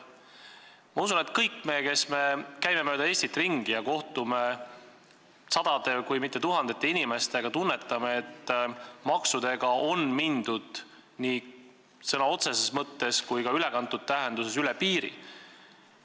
" Ma usun, et kõik me, kes me käime mööda Eestit ringi ja kohtume sadade, kui mitte tuhandete inimestega, tunnetame, et maksudega on mindud nii sõna otseses mõttes kui ka ülekantud tähenduses üle piiri.